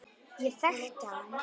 Ég þekkti hann